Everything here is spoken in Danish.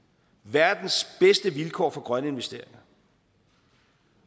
verdens bedste vilkår for grønne investeringer